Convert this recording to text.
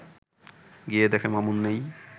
গিয়ে দেখে, মামুন নেই